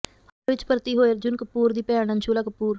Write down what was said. ਹਸਪਤਾਲ ਵਿੱਚ ਭਰਤੀ ਹੋਈ ਅਰਜੁਨ ਕਪੂਰ ਦੀ ਭੈਣ ਅੰਸ਼ੁਲਾ ਕਪੂਰ